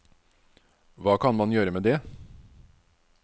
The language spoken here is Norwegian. Hva kan man gjøre med det?